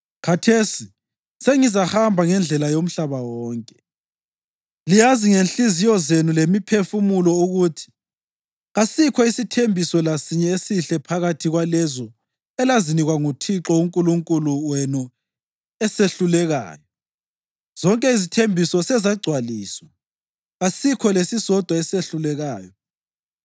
Khathesi sengizahamba ngendlela yomhlaba wonke. Liyazi ngezinhliziyo zenu lemiphefumulo ukuthi kasikho isithembiso lasinye esihle phakathi kwalezo elazinikwa nguThixo uNkulunkulu wenu esehlulekayo. Zonke izithembiso sezagcwaliswa; kasikho lesisodwa esehlulekayo.